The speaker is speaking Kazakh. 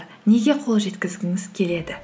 неге қол жеткізгіңіз келеді